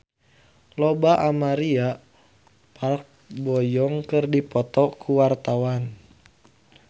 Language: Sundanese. Lola Amaria jeung Park Bo Yung keur dipoto ku wartawan